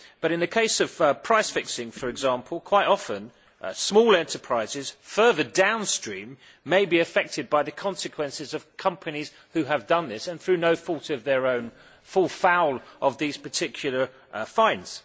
In the case of price fixing, for example, quite often, small enterprises further downstream may be affected by the consequences of companies having done this and, through no fault of their own, fall foul of these particular fines.